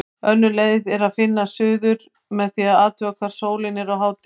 Önnur leið er að finna suður með því að athuga hvar sólin er á hádegi.